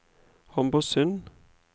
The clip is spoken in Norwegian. Homborsund